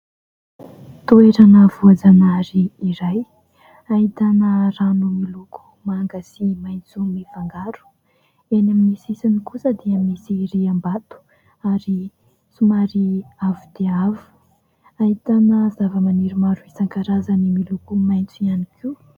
Toerana voajanahary iray ahitana rano miloko manga sy maitso mifangaro , eny amin'ny sisiny kosa dia misy riam-bato ary somary avo dia avo , ahitana zava-maniry maro isan- karazany miloko maitso ihany koa.